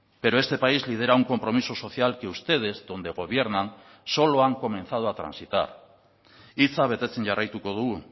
pero este país lidera un compromiso social que ustedes donde gobiernan solo han comenzado a transitar hitza betetzen jarraituko dugu